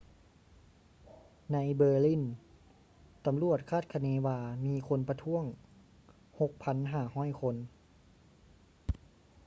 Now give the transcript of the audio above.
ໃນ berlin ຕຳຫຼວດຄາດຄະເນວ່າມີຄົນປະທ້ວງ 6,500 ຄົນ